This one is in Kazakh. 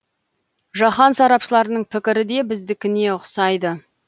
жаһан сарапшыларының пікірі де біздікіне ұқсайды